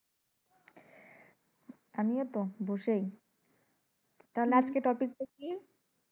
আমিও তো বসেই। তাহলে আজকের topic টা কি?